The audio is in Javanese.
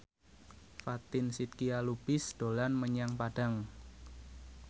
Fatin Shidqia Lubis dolan menyang Padang